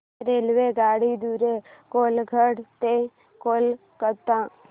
रेल्वेगाडी द्वारे कोलाघाट ते कोलकता